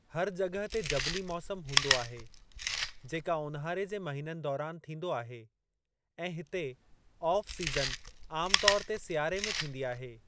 हर जॻह ते जबली मौसमु हूंदो आहे, जेका ऊन्हारे जे महिननि दौरानि थींदो आहे, ऐं हिते ऑफ़ सीज़न, आमु तौर ते सियारे में थींदी आहे।